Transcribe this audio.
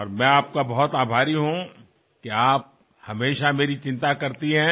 और मैं आपका बहुत आभारी हूँ कि आप हमेशा मेरी चिंता करती हैं